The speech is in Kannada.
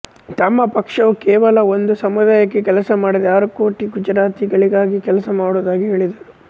ತಮ್ಮ ಪಕ್ಷವು ಕೇವಲ ಒಂದು ಸಮುದಾಯಕ್ಕೆ ಕೆಲಸ ಮಾಡದೆ ಆರು ಕೋಟಿ ಗುಜರಾತಿಗಳಿಗಾಗಿ ಕೆಲಸ ಮಾಡುವುದಾಗಿ ಹೇಳಿದರು